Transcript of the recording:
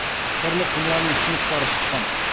сырлы құмыраның сынықтары шыққан